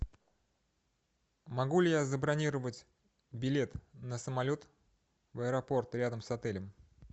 могу ли я забронировать билет на самолет в аэропорт рядом с отелем